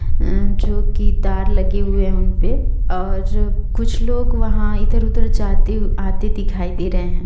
अ जो की तार लगे हुए उन पे और कुछ लोग वहां इधर-उधर जाते आते दिखाई दे रहे हैं।